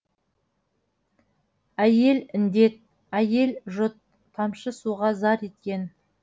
әйел індет әйел жұт тамшы суға зар еткен